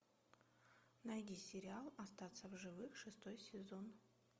найди сериал остаться в живых шестой сезон